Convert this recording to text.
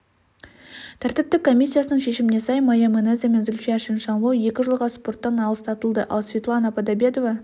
тәртіптік комиссиясының шешіміне сай майя манеза мен зульфия чиншанло екі жылға спорттан аластатылды ал светлана подобедова